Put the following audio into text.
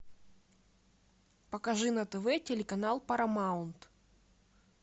покажи на тв телеканал парамаунт